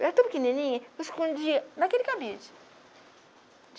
Eu era tão pequenininha que eu escondia naquele cabide.